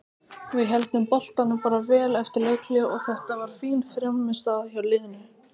Við héldum boltanum bara vel eftir leikhlé og þetta var fín frammistaða hjá liðinu.